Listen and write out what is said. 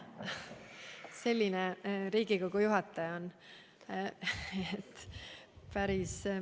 Selline Riigikogu juhataja on meil.